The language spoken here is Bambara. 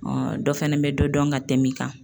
dɔ fɛnɛ bɛ dɔ dɔn ka tɛm'i kan